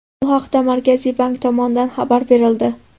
Bu haqda Markaziy bank tomonidan xabar berildi .